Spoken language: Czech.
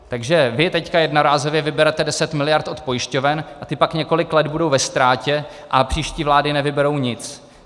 Takže vy teď jednorázově vyberete 10 miliard od pojišťoven a ty pak několik let budou ve ztrátě a příští vlády nevyberou nic.